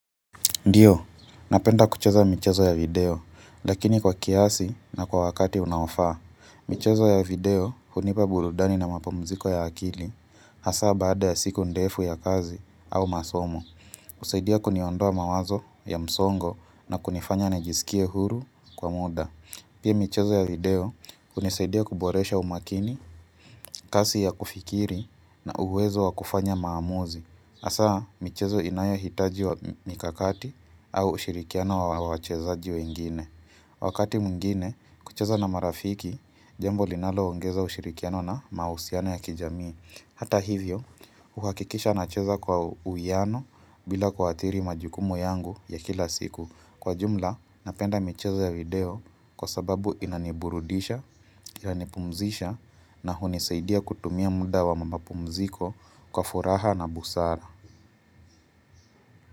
Ndio, napenda kucheza michezo ya video, lakini kwa kiasi na kwa wakati unaofaa. Michezo ya video, hunipa burudani na mapumziko ya akili, hasaa baada ya siku ndefu ya kazi au masomo. Husaidia kuniondoa mawazo ya msongo na kunifanya nijisikie huru kwa muda. Pia michezo ya video, hunisaidia kuboresha umakini, kasi ya kufikiri na uwezo wa kufanya maamuzi. Hasaa, michezo inayohitaji wa mikakati au ushirikiano wa wachezaji wengine. Wakati mwingine, kucheza na marafiki, jambo linaloongeza ushirikiano na mahusiano ya kijamii. Hata hivyo, huhakikisha nacheza kwa uwiano bila kuathiri majukumu yangu ya kila siku. Kwa jumla, napenda michezo ya video kwa sababu inaniburudisha, inanipumzisha na hunisaidia kutumia muda wa mapumziko kwa furaha na busara.